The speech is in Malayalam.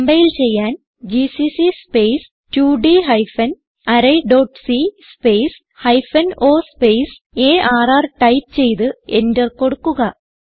കംപൈൽ ചെയ്യാൻ ജിസിസി സ്പേസ് 2ഡ് hyphen array dot c space hyphen o space R type ചെയ്ത് എന്റർ കൊടുക്കുക